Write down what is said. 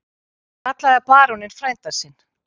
Hann kallaði baróninn frænda sinn.